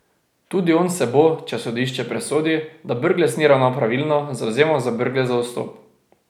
Tudi on se bo, če sodišče presodi, da Brglez ni ravnal pravilno, zavzemal za Brglezov odstop.